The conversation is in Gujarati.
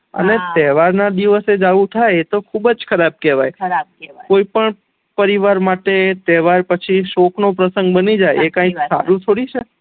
અને તેહવાર ના દિવસે જ આવું થાય એ તો ખુબજ ખરાબ કેવાય પરિવાર માટે તેહવાર પછી સોક નો પ્રશંગ બની જાય એ સારું ના કેવાય જાય એ સારું ના કેવાય